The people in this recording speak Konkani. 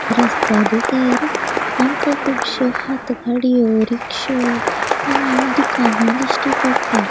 रस्त्या देगेर आमका कूबश्यो हात गाड़ियों ऱिक्षयो आणि दुकाना दिश्टी पट्टा.